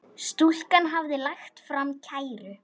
Stúlkan hafði lagt fram kæru.